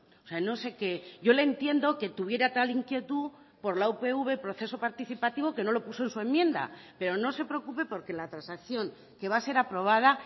o sea no sé qué yo le entiendo que tuviera tal inquietud por la upv proceso participativo que no lo puso en su enmienda pero no se preocupe porque la transacción que va a ser aprobada